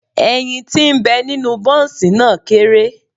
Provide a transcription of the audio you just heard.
Ẹyin ti ń bẹ nínú Bọ́ǹsì náà kéré.